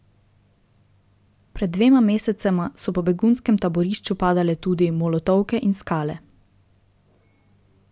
Pred dvema mesecema so po begunskem taborišču padale tudi molotovke in skale.